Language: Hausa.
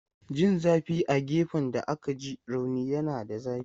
Jin zafi a gefen da aka ji rauni yana da zafi.